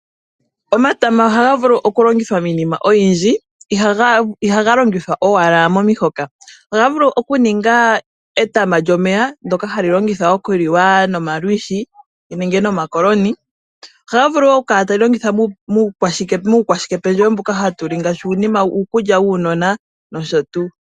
Omatama ohaga vulu oku longithwa miinima oyindji, ihaga longithwa owala momihoka. Ohaga vulu oku ninga etama lyomeya ndoka hali longithwa oku li wa nomalwiishi nenge nomakoloni, ohaga vulu wo oku kala ta li longithwa muukwashike pendjewo mbuka hatu li ngaashi uukulya wuunona nosho tuu.